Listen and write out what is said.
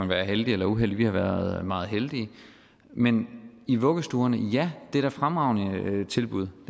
være heldig eller uheldig vi har været meget heldige men i vuggestuerne ja det er da et fremragende tilbud